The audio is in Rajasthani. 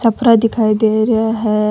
छपरा दिखाई दे रा है।